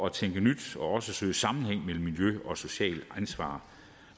at tænke nyt og også søge sammenhæng mellem miljø og socialt ansvar